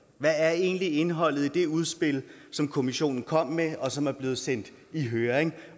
hvad er egentlig indholdet i det udspil som kommissionen kom med og som er blevet sendt i høring